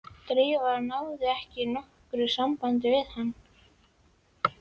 Drífa náði ekki nokkru sambandi við hann.